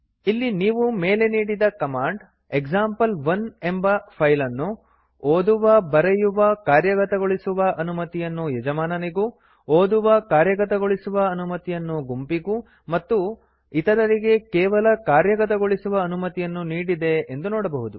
ಇಲ್ಲಿ ನೀವು ಮೇಲೆ ನೀಡಿದ ಕಮಾಂಡ್ ಎಕ್ಸಾಂಪಲ್1 ಎಂಬ ಫೈಲ್ ಅನ್ನು ಓದುವಬರೆಯುವಕಾರ್ಯಗತಗೊಳಿಸುವ ಅನುಮತಿಯನ್ನು ಯಜಮಾನನಿಗೂ ಓದುವಕಾರ್ಯಗತಗೊಳಿಸುವ ಅನುಮತಿಯನ್ನು ಗುಂಪಿಗೂ ಮತ್ತು ಇತರರಿಗೆ ಕೇವಲ ಕಾರ್ಯಗತಗೊಳಿಸುವ ಅನುಮತಿಯನ್ನು ನೀಡಿದೆ ಎಂದು ನೋಡಬಹುದು